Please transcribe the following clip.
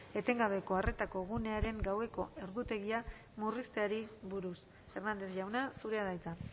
etengabeko arretako gunearen gaueko ordutegia murrizteari buruz hernández jauna zurea da hitza